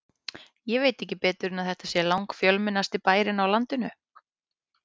Ég veit ekki betur en þetta sé langfjölmennasti bærinn á landinu.